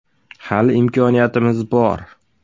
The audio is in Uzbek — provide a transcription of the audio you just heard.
“Hali imkoniyatimiz bor.